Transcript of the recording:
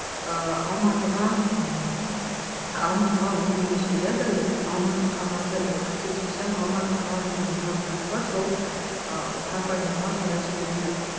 ыыы алматыға м алматыға өңдеуге жібереді яғни алматы қағазы қателеспесем алматы қағазы деген компания бар сол ы компанияға қарай жібереді